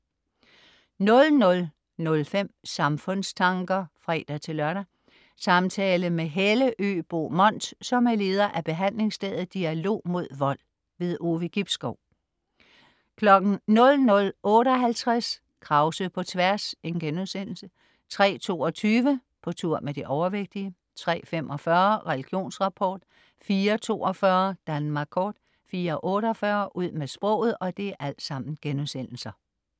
00.05 Samfundstanker (fre-lør). Samtale med Helle Øbo Mont, som er leder af behandlingsstedet "Dialog mod Vold". Ove Gibskov 00.58 Krause på tværs* 03.22 På tur med de overvægtige* 03.45 Religionsrapport* 04.42 Danmark kort* 04.48 Ud med sproget*